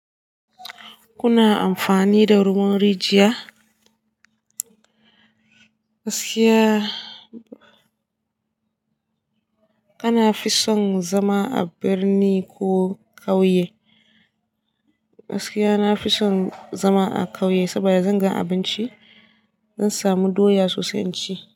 Kuna amfani da ruwan rijiya? Gaskiya kana fison zama a birni ko ƙauye? Gaskiya na fison zama a ƙauye saboda zan ga abinci, zan samu doya sosai cin.